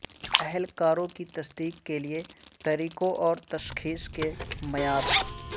اہلکاروں کی تصدیق کے لئے طریقوں اور تشخیص کے معیار